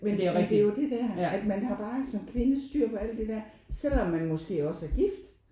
Men det er jo det der at man har bare som kvinde styr på alt det der selvom man måske også er gift